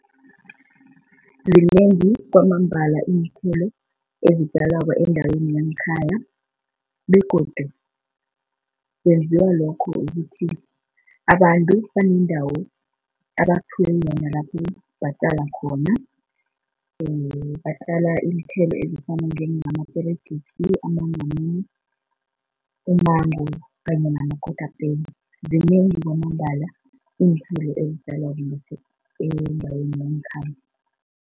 Zinengi kwamambala iinthelo ezitjalwako endaweni yangekhaya begodu kwenziwa lokho kukuthi abantu banendawo abaphiwe yona lapho batjala khona batjala iinthelo ezifana njengamaperegisi, amanamune, umango kanye namakotapeni. Zinengi kwamambala iinthelo ezitjalwako endaweni yangekhaya.